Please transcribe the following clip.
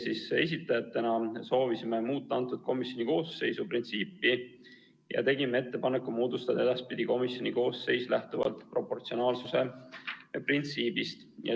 Meie esitajatena soovisime muuta komisjoni koosseisu moodustamise printsiipi ja tegime ettepaneku moodustada edaspidi komisjon lähtuvalt proportsionaalsuse printsiibist.